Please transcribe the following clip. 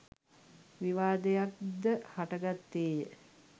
විවාදයක් ද හටගත්තේ ය.